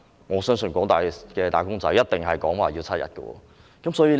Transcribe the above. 我相信廣大"打工仔"一定同意要爭取7天。